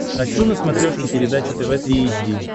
хочу на смотрешке передачу тв три эйч ди